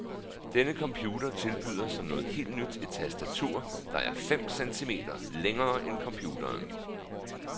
Denne computer tilbyder som noget helt nyt et tastatur, der er fem centimeter længere end computeren.